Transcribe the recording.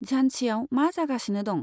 झानसिआव मा जागासिनो दं?